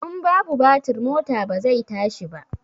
In babu batir mota ba zai tashi ba